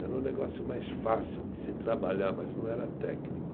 Era um negócio mais fácil de se trabalhar, mas não era técnico.